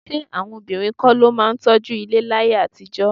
Ṣé àwọn obìnrin kọ́ ló máa ń tọ́jú ilé láyé àtijọ́?